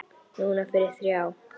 Núna fyrir þrjá.